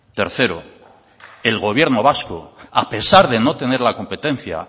tercero el gobierno vasco a pesar de no tener la competencia